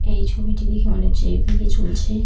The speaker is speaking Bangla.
এই ছবিটি দেখে মনে হচ্ছে এক দিকে চলছে।